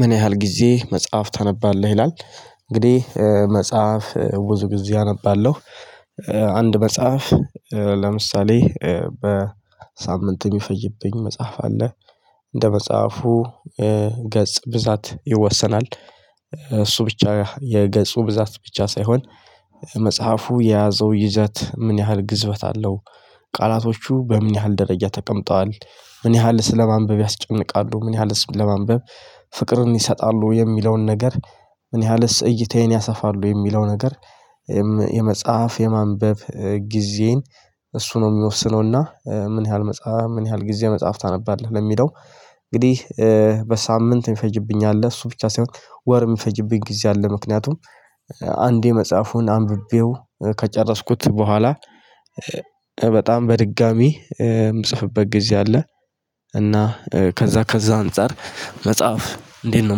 ምን ያህል ጊዜ መጽሐፍ ታነባለህ? ይላል እንግዲህ መጽሐፍ ብዙ ጊዜ አነባለሁ። አንድ መጽሐፍ ለምሳሌ በሳምንት የሚፈጅብኝ መጽሐፍ አለ። እንደ መጽሐፉ ገጽ ብዛት ይወሰናል። እሱ ብቻ የገጹ ብዛት ብቻ ሳይሆን መጽሐፉ የያዘው ይዘት ምን ያህል ግዝፈት አለው። ቃላቶቹ በምን ያህል ደረጃ ተቀምጠዋል? ምን ያህል ስለማንበብ ያስጨንቃሉ? ምን ያህልስ ለማንበብ ፍቅርን ይሰጣሉ? የሚለውን ነገር ምን ያህልስ እይታዬን ያሰፋሉ? የሚለው ነገር የመጽሐፍ የማንበብ ጊዜን እሱ ነው የሚወስነው። እና ምን ያህል መጽሐፍ ምን ያህል ጊዜ መጽሐፍ ታነባለህ? ለሚለው እንግዲህ በሳምንት የሚፈጅብኝ አለ። እሱ ብቻ ሳይሆን ወር የሚፈጅብኝ ጊዜ አለ። ምክንያቱም አንዴ መጽሐፉን አንብቤው ከጨረስኩት በኋላ በጣም በድጋሚ የምጽፍበት ጊዜ አለ። እና ከዛ ከዛ አንፃር መጽሐፍ እንዴት ነው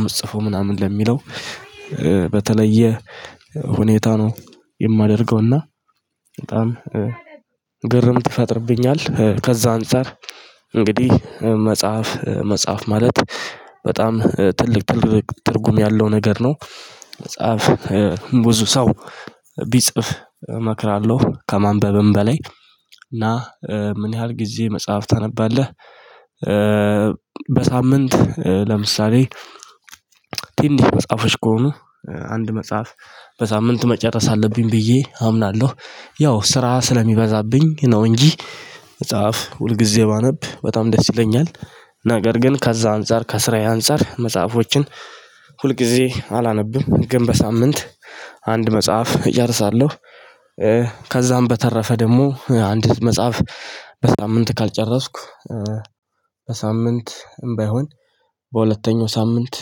የምትጽፈው ምናምን ለሚለው በተለየ ሁኔታ ነው የማደርገው። እና በጣም ግርምት ይፈጥርብኛል። ከዛ አንፃር እንግዲህ መጽሐፍ መጽሐፍ ማለት በጣም ትልቅ ትልቅ ትርጉም ያለው ነገር ነው። ብዙ ሰው ቢጽፍ እመክራለሁ ከማንበብም በላይ። እና ምን ያህል ጊዜ መጽሐፍ ታነባለህ? በሳምንት ለምሳሌ ትንሽ መጽሐፎች ከሆኑ አንድ መጽሐፍ በሳምንቱ መጨረስ አለብኝ ብዬ አምናለሁ። ያው ስራ ስለሚበዛብኝ ነው እንጂ መጽሐፍ ሁል ጊዜ ባነብ በጣም ደስ ይለኛል። ነገር ግን ከዛ አንፃር ከስራዬ አንፃር መጽሐፎችን ሁልጊዜ አላነብም። ግን በሳምንት አንድ መጽሐፍ እጨርሳለሁ። ከዛም በተረፈ ደግሞ አንድ መጽሐፍ በሳምንት ካልጨረስኩ በሳምንትም ባይሆን በሁለተኛው ሳምንት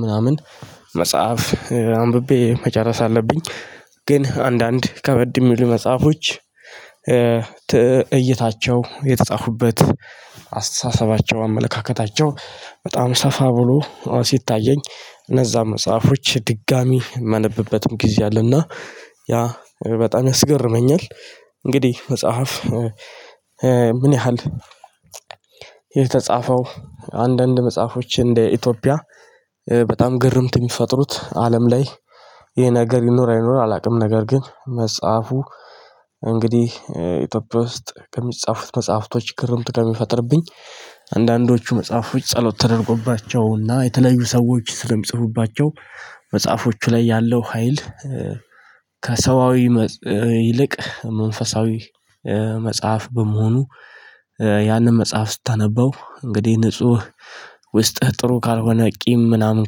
ምናምን መጽሐፍ አንብቤ መጨረስ አለብኝ። ግን አንዳንድ ከበድ የሚሉ መጽሐፎች እይታቸው የተጻፉበት አስተሳሰባቸው አመለካከታቸው በጣም ሰፋ ብሎ ሲታየኝ እነዛ መጽሐፎች ድጋሚ የማነብበትም ጊዜ አለ። እና ያ በጣም ያስገርመኛል። እንግዲህ መጽሐፍ ምን ያህል የተጻፈው አንዳንድ መጽሐፎች እንደ ኢትዮጵያ በጣም ግርምት የሚፈጥሩት አለም ላይ ይሄ ነገር ይኖር አይኖርም አላውቅም። ነገር ግን መጽሐፉ እንግዲህ ኢትዮጵያ ውስጥ ከሚጻፉት መጽሐፍቶች ግርምት ከሚፈጥርብኝ አንዳንዶቹ መጽሐፎች ጸሎት ተደርጎባቸውና የተለዩ ሰዎች ስለሚጽፉባቸው መጽሐፎቹ ላይ ያለው ሀይል ከሰዋዊ ይልቅ መንፈሳዊ መጽሐፍ በመሆኑ ያንን መጽሐፍ ስታነበው እንግዲህ ንጹህ ውስጥህ ጥሩ ካልሆነ ቂም ምናምን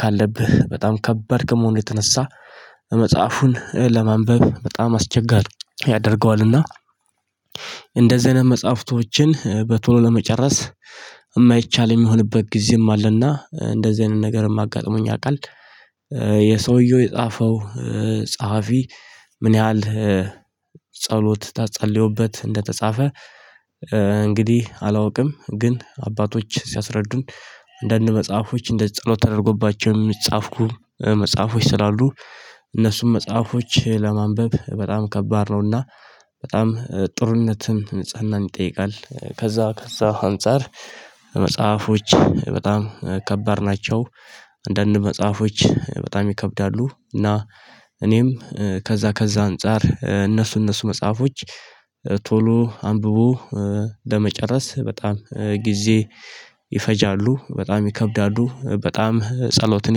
ካለብህ በጣም ከባድ ከመሆኑ የተነሳ መጽሐፉን ለማንበብ በጣም አስቸጋሪ ያደርገዋል። እና እንደዚህ አይነት መጽሐፍቶችን በቶሎ ለመጨረስ የማይቻል የሚሆንበት ጊዜም አለ። እና እንደዚህ አይነት ነገርም አጋጥሞኝ ያውቃል። የሰውየው የጻፈው ጸሐፊ ምን ያህል ጸሎት ተጸልዮበት እንደተጻፈ እንግዲህ አላውቅም። ግን አባቶች ሲያስረዱን አንዳንድ መጽሐፎች እንደ ጸሎት ተደረጎባቸው የሚጻፍ መጽሐፎች ስላሉ እነሱም መጽሐፎች ለማንበብ በጣም ከባድ ነው። እና በጣም ጥሩነትም ንጽህናን ይጠይቃል። ከዛ ከዛ አንፃር መጽሐፎች በጣም ከባድ ናቸው። አንዳንድ መጽሐፎች በጣም ይከብዳሉ። እና እኔም ከዛ ከዛ አንፃር እነሱ እነሱ መጽሐፎች ቶሎ አንብቦ ለመጨረስ በጣም ጊዜ ይፈጃሉ። በጣም ይከብዳሉ፤ በጣም ጸሎትን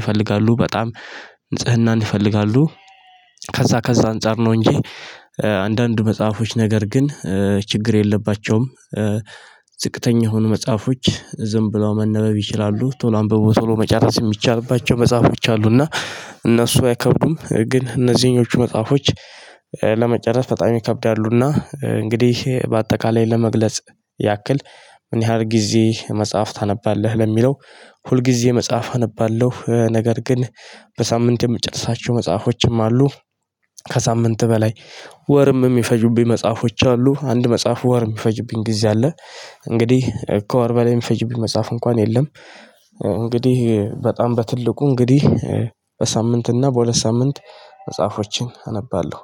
ይፈልጋሉ፤ በጣም ንጽህናን ይፈልጋሉ፤ ከዛ ከዛ አንፃር ነው እንጂ አንዳንድ መጽሐፎች ነገር ግን ችግር የለባቸውም። ዝቅተኛ የሆኑ መጽሐፎች ዝም ብለው መነበብ ይችላሉ። ቶሎ አንብቦ ቶሎ መጨረስ የሚቻልባቸው መጽሐፎች አሉ። እና እነሱ አይከብዱም ግን እነዚህኞቹ መጽሐፎች ለመጨረስ በጣም ይከብዳሉ። እና እንግዲህ በአጠቃላይ ለመግለጽ ያክል ምን ያህል ጊዜ መጽሐፍ ታነባለህ? ለሚለው ሁል ጊዜ መጽሐፍ አነባለሁ። ነገር ግን በሳምንት የምጨርሳቸው መጽሐፎችም አሉ። ከሳምንት በላይ ወርም የሚፈጁብኝ መጽሐፎች አሉ። አንድ መጽሐፍ ወር የሚፈጁብኝ ጊዜ አለ። እንግዲህ ከወር በላይ የሚፈጅብኝ መጽሐፍ እንኳን የለም እንግዲህ በጣም በትልቁ እንግዲህ በሳምንትና በሁለት ሳምንት መጽሐፎችን አነባለሁ።